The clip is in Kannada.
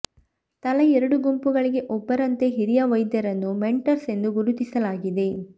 ತಲಾ ಎರಡು ಗುಂಪುಗಳಿಗೆ ಒಬ್ಬರಂತೆ ಹಿರಿಯ ವೈದ್ಯರನ್ನು ಮೆಂಟರ್ಸ್ ಎಂದು ಗುರುತಿಸಲಾಗಿದೆ